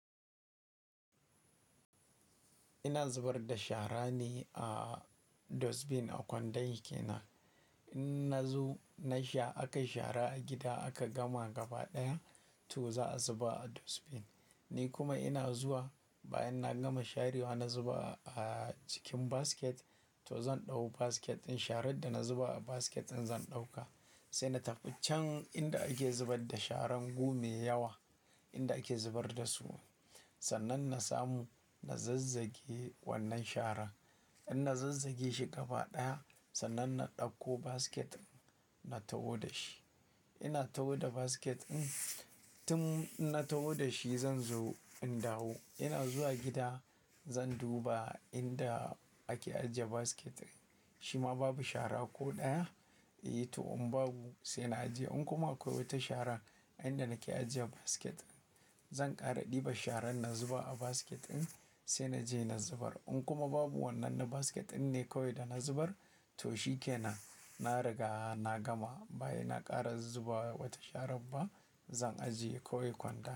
Ina zubar da shara ne a dustbin a kwandon shi kenan. In na zo na sha, aka yi shara a gida aka gama gaba ɗaya toh za a zuba a dustbin. Ni kuma ina zuwa bayan na gama sharewa na zuba a cikin basket toh zan ɗau basket ɗin. Sharan da na zuba a basket ɗin zan ɗauka, sai na tafi can inda ake zubar da sharan go mai yawa inda ake zubar da su. Sannan na samu, na zazzage wannan sharan. In na zazzage shi gaba ɗaya sannan na ɗauko basket na taho da shi. Ina taho da basket ɗin, tun ina taho da shi zan zo in dawo. Ina zuwa gida zan duba inda ake ajiye basket shima babu shara ko ɗaya, eh toh in babu sai na ajiye. In kuma akwai wata sharan a inda nake ajiye basket ɗin zan ƙara ɗiba sharan na zuba a basket ɗin sai na je na zubar. In kuma babu wannan na basket ɗinne kawai da na zubar toh shi kenan. Na riga na gama. Bayan na ƙara zuba wata shara ba zan ajiye kawai kwandon.